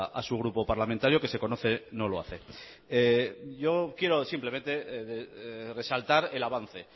a su grupo parlamentario que se conoce no lo hace yo quiero simplemente resaltar el avance